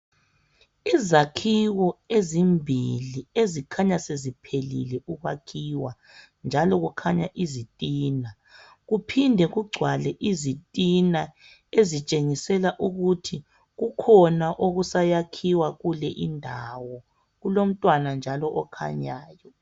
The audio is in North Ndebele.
izakhiwo ezimbili ezikhanya seziphelile ukwakhiwa njalo kukhaya izitina kuphinde kucwale izitina ozitshengisela ukuthi kukhona okunye okusa yakhwayo kuleyi ndawo kulomntwana njalo okhanyayo